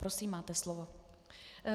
Prosím, máte slovo.